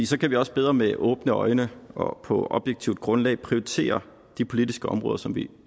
så kan vi også bedre med åbne øjne og på objektivt grundlag prioritere de politiske områder som vi